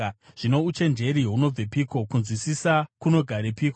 “Zvino uchenjeri hunobvepiko? Kunzwisisa kunogarepiko?